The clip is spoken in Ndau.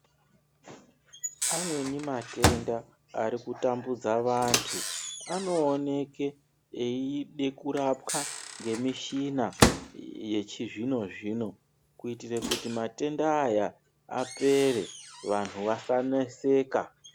Amweni matenda ari kutambudza vantu, anooneke eide kurapwa ngemishina yechizvino-zvino , kuitire kuti matenda aya apere, vantu vasaneseka.